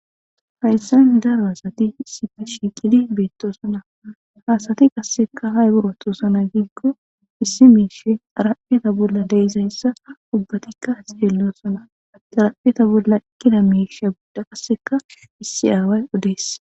Hayssan daro hasati sipi shi qidi beettoosana haasati qasseka hay buratosana giikko issi miishe arapheta bolla deyizayssa ubbatikka seellosana darapheta bolla kilamiishia budda qasseka issi aaway odees.